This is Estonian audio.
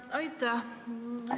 Aitäh!